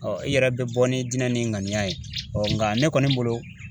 i yɛrɛ bɛ bɔ n'i dinɛ n'i ŋaniya ye nga ne kɔni bolo